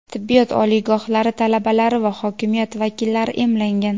tibbiyot oliygohlari talabalari va hokimiyat vakillari emlangan.